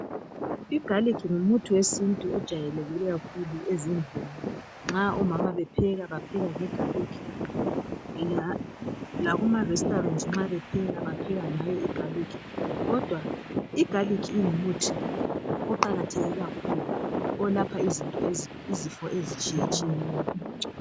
Igalikhi ngumuthi wesintu ojwayilekileyo ezindlini. Omama nxa bepheka bapheka bgegalic , lakuma 'restaurant' nxa bepheka bapheka ngayo igalikhi. Kodwa igalikhi ngumuthi iqakathekileyo kakhulu, olapha izifo ezitshiyetshiyeneyo.